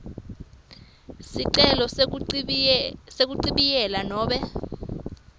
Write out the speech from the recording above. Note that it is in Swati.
sicelo sekuchibiyela nobe